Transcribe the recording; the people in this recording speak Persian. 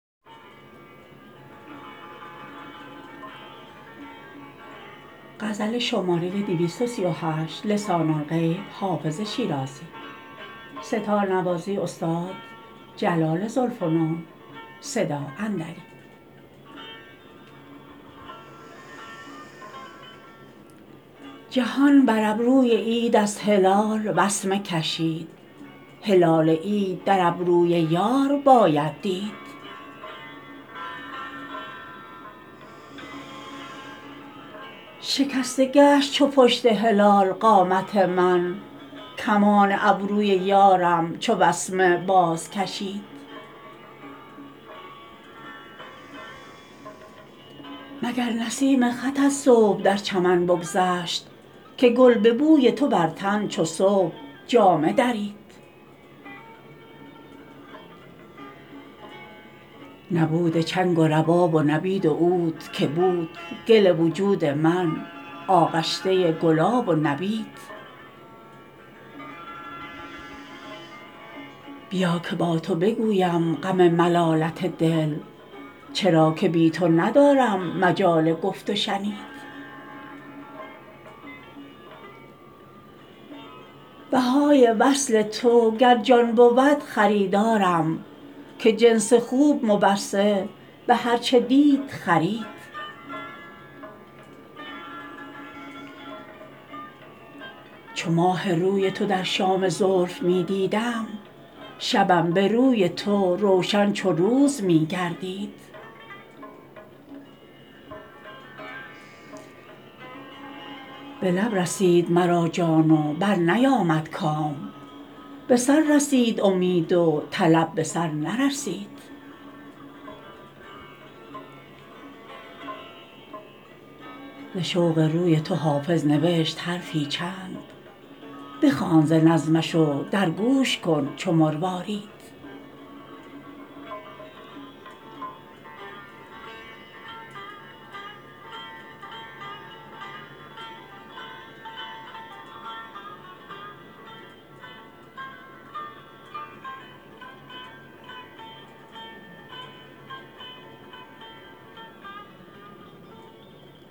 جهان بر ابروی عید از هلال وسمه کشید هلال عید در ابروی یار باید دید شکسته گشت چو پشت هلال قامت من کمان ابروی یارم چو وسمه بازکشید مگر نسیم خطت صبح در چمن بگذشت که گل به بوی تو بر تن چو صبح جامه درید نبود چنگ و رباب و نبید و عود که بود گل وجود من آغشته گلاب و نبید بیا که با تو بگویم غم ملالت دل چرا که بی تو ندارم مجال گفت و شنید بهای وصل تو گر جان بود خریدارم که جنس خوب مبصر به هر چه دید خرید چو ماه روی تو در شام زلف می دیدم شبم به روی تو روشن چو روز می گردید به لب رسید مرا جان و برنیامد کام به سر رسید امید و طلب به سر نرسید ز شوق روی تو حافظ نوشت حرفی چند بخوان ز نظمش و در گوش کن چو مروارید